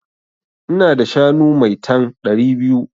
Ina da shanu maitan (ɗari biyu)